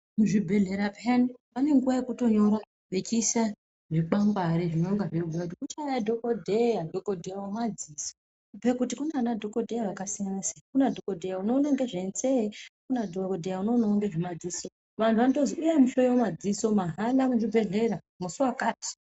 Muzvibhedhlera piyani pane nguwa yekutonyora vachiisa zvikwangwari zvinenge zveibhuya kuti kuchauya dhokotera wemadziso kubhuya kuti kunana dhokodheya akasiyana siyana unoona nezvemutsetse Kuna dhokodheya unoona zvemadziso vanhu vanotozi huyai muhloiwe madziso muzvibhedhlera mazuva akati.